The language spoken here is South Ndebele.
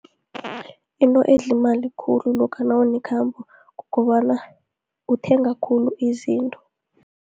Into edla imali khulu, lokha nawunekhambo, kukobana uthenga khulu izinto.